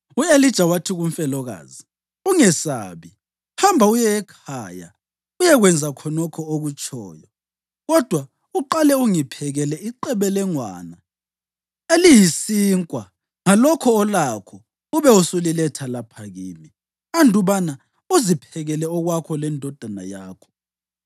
U-Elija wathi kumfelokazi, “Ungesabi. Hamba uye ekhaya uyekwenza khonokho okutshoyo. Kodwa uqale ungiphekele iqebelengwane eliyisinkwa ngalokho olakho ube usuliletha lapha kimi, andubana uziphekele okwakho lendodana yakho.